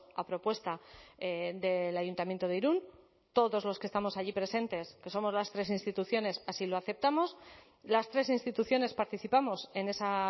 a propuesta del ayuntamiento de irún todos los que estamos allí presentes que somos las tres instituciones así lo aceptamos las tres instituciones participamos en esa